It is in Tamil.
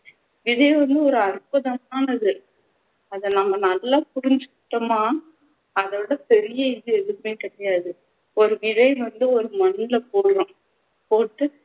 விதை வந்து ஒரு அற்புதமானது அதை நம்ம நல்லா புரிஞ்சிக்கிட்டோம்னா அதைவிட பெரிய இது எதுவுமே கிடையாது ஒரு விதை வந்து ஒரு மண்ணுல போடுறோம் போட்டு